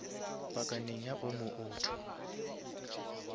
pakaneng ya omo auto